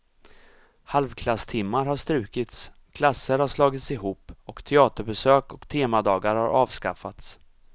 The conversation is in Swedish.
Halvklasstimmar har strukits, klasser har slagits ihop och teaterbesök och temadagar har avskaffats.